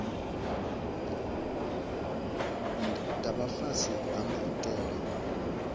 dza vha fhasi ha maitele